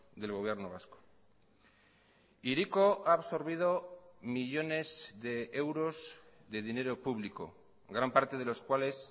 del gobierno vasco hiriko ha absorbido millónes de euros de dinero público gran parte de los cuales